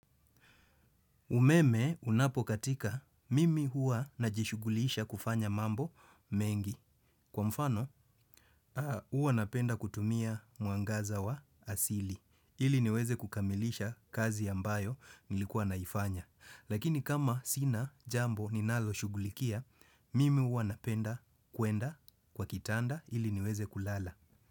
Umeme unapokatika mimi huwa najishughulisha kufanya mambo mengi kwa mfano huwa napenda kutumia mwangaza wa asili ili niweze kukamilisha kazi ambayo nilikuwa naifanya. Lakini kama sina jambo ninaloshughulikia, mimi huwa napenda kuenda kwa kitanda ili niweze kulala.